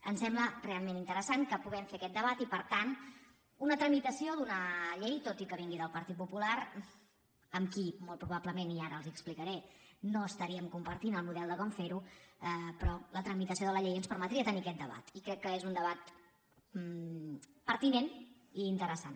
em sembla realment interessant que puguem fer aquest debat i per tant una tramitació d’una llei tot i que vingui del partit popular amb qui molt probablement i ara els ho explicaré no estaríem compartint el model de com fer ho però la tramitació de la llei ens permetria tenir aquest debat i crec que és un debat pertinent i interessant